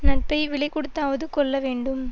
நட்பை விலை கொடுத்தாவது கொள்ள வேண்டும்